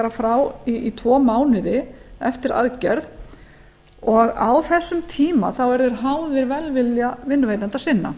frá í tvo mánuði eftir aðgerð og á þessum tíma eru þeir háðir velvilja vinnuveitenda sinna